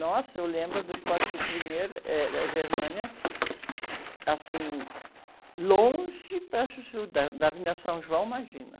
Nossa, eu lembro do Esporte Clube Pinheiro, eh, eh, Germânia, assim, longe para chuchu, da, da Avenida São João, imagina.